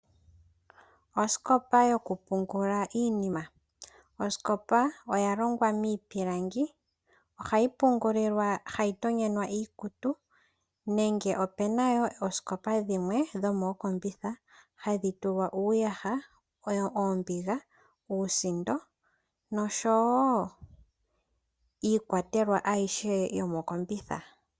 Osikopa yokupungula iinima. Osikopa oya longwa miipilangi, ohayi pungulilwa noku tonyenwa iikutu nenge opuna wo oosikopa dhimwe dhomokombitha hadhi tulwa iiyaha, oombinga, uusindo, iikwatelwa ayihe yomo kombitha.